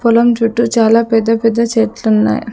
పొలం చుట్టూ చాలా పెద్ద పెద్ద చెట్లున్నాయి.